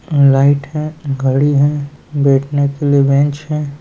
light है घड़ी है बैठने के लिए बेंच है |